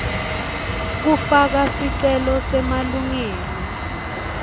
kufaka sicelo semalungelo